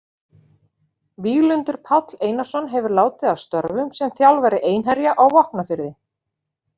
Víglundur Páll Einarsson hefur látið af störfum sem þjálfari Einherja á Vopnafirði.